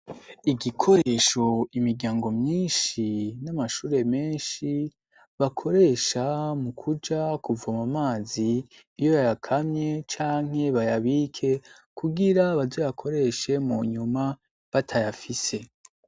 Igikoresho imiryango myinshi n'amashure menshi bakoresha mu kuja kuvama amazi iyo bayakamye canke bayabike kugira baze bakoreshe mu nyuma batayafise.